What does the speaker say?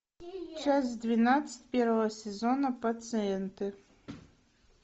часть двенадцать первого сезона пациенты